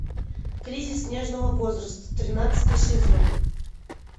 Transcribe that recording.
кризис нежного возраста тринадцатый сезон